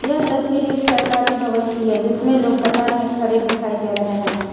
यह तस्वीर एक सरकारी भवन की है जिसमें लोग कतार में खड़े दिखाई दे रहे हैं।